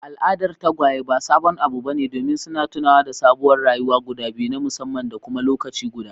Al'adar tagwaye ba sabon abu bane domin suna tunawa da sabuwar rayuwa guda biyu na musamman da kuma lokaci guda.